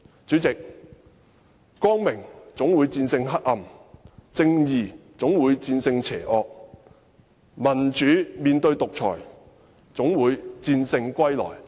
主席，光明總會戰勝黑暗，正義總會戰勝邪惡，民主總會戰勝獨裁。